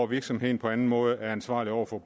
virksomheden på anden måde er ansvarlig over for